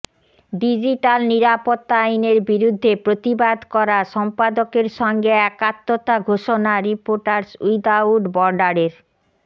digital নিরাপত্তা আইনের বিরুদ্ধে প্রতিবাদ করা সম্পাদকদের সঙ্গে একাত্মতা ঘোষণা রিপোর্টাস উইদাউট বর্ডারের